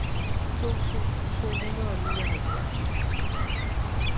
to tusind to hundrede og nioghalvfjerds